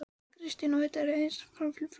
Kristinn: Og þetta er reiðarslag fyrir Flateyri?